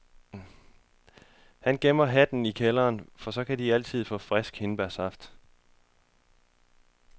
Han gemmer hatten i kælderen, for så kan de altid få frisk hindbærsaft.